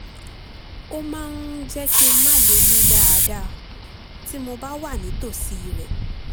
ó máa ń jẹ́ kí n má lè mí dáadáa tí mo bá wà nítòsí rẹ̀